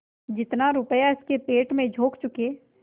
जितना रुपया इसके पेट में झोंक चुके